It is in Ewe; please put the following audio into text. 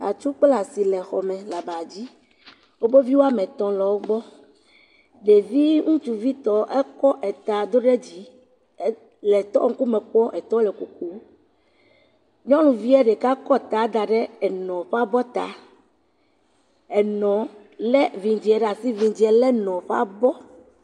atsu kple asi le xɔmɛ le aba dzi woƒe vi wɔamɛtɔ̃ le wógbɔ ɖevi ŋutsuvi tɔ ekɔ eta dó ɖe dzi le tɔ ŋkume kpɔ etɔ le koko nyɔnuvie ɖeka kɔ ta daɖe enɔ ƒe abɔta enɔ lɛ vidzie ɖasi vidzie lɛ enɔ ƒabɔ